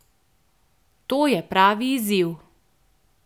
To je pravi izziv!